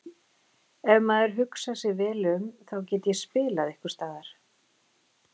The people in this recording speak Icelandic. Ef maður hugsar vel um sig þá get ég spilað einhversstaðar.